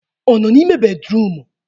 Ọ nọ n'ime bédrụum?